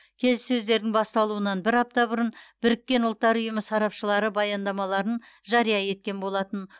келіссөздердің басталуынан бір апта бұрын біріккен ұлттар ұйымы сарапшылары баяндамаларын жария еткен болатын